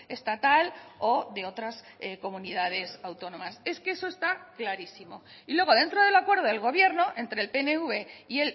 estatal o de otras comunidades autónomas es que eso está clarísimo y luego dentro del acuerdo del gobierno entre el pnv y